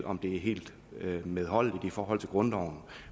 om det er helt medholdeligt i forhold til grundloven